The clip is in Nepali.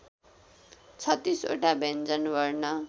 ३६ वटा व्यञ्जनवर्ण